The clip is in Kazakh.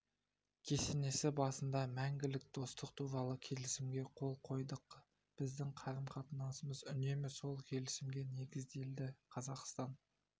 кесенесі басында мәңгілік достық туралы келісімге қол қойдық біздің қарым-қатынасымыз үнемі сол келісімге негізделді қазақстан